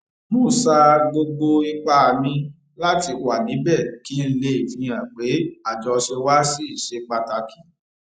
mo sa gbogbo ipá mi láti wà níbè kí n lè fihàn pé àjọṣe wa ṣì ṣe pàtàkì